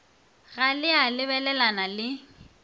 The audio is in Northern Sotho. ga le a lebelelana le